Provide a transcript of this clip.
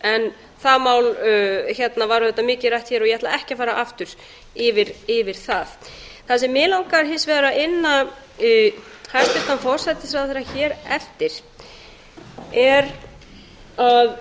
skuldaleiðréttinguna það mál var mikið rætt hér og ég ætla ekki að fara aftur yfir það það sem mig langaði hins vegar að inna hæstvirtan forsætisráðherra eftir er um